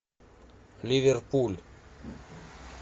ливерпуль